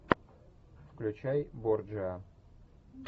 включай борджиа